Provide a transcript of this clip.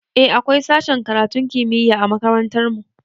Eh akwai sashen karatun kimiyya a makarantar mu